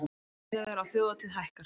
Miðaverð á þjóðhátíð hækkar